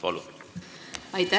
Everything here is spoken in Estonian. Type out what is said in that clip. Palun!